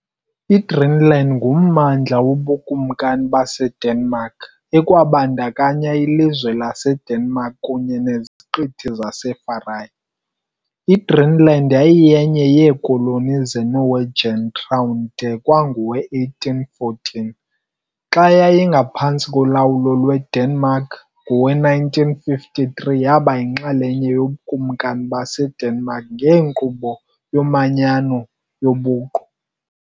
IGreenland ngummandla woBukumkani baseDenmark, ekwabandakanya ilizwe laseDenmark kunye neZiqithi zaseFarae. IGreenland yayiyenye yeekoloni zeNorwegian Crown de kwangowe-1814, xa yayiphantsi kolawulo lweDenmark, ngowe-1953 yaba yinxalenye yobukumkani baseDenmark ngenkqubo yomanyano yobuqu.